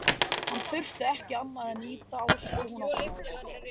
Hann þurfti ekki annað en ýta á svo hún opnaðist.